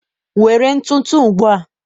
Were ntụtụ ugbu a!